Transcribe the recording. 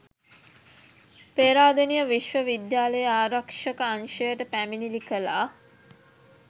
පේරාදෙණිය විශ්ව විද්‍යාලයේ ආරක්ෂක අංශයට පැමිණිලි කළා.